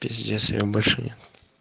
пиздец её больше нет